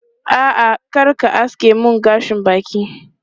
A'a, kar ka aske mun gashin bakin.